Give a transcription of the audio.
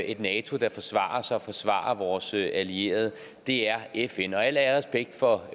et nato der forsvarer sig og forsvarer vores allierede er fn al ære og respekt for